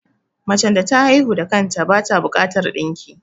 Macen da ta haihu da kanta bata bukatar ɗinki